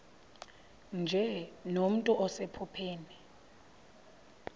nje nomntu osephupheni